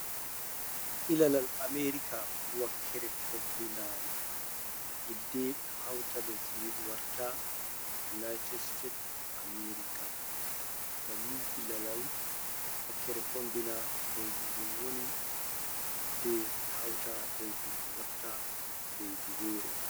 Ilalal america wakkere fombinari, hidde ɓe hauta lesdidin warta unaitet site of amerika, banni ilalal wakkere fombina lesdidin woni hidde ɓe hauta leididin warta leidi wore.